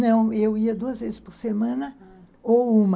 Não, eu ia duas vezes por semana ou uma.